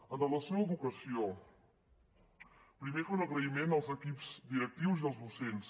amb relació a l’educació primer fer un agraïment als equips directius i als docents